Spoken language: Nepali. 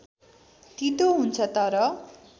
तीतो हुन्छ तर